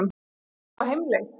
Ertu á heimleið?